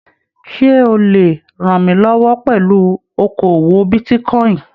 Ṣe o le rànmílọwọ́ pẹlú okoowó bitíkọ̀in?